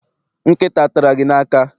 Nkịta atara gị n'aka?